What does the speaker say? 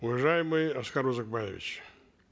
уважаемый аскар узакбаевич